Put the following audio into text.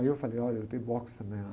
Aí eu falei, olha, eu lutei boxe também, ó